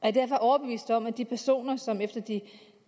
er derfor overbevist om at de personer som efter de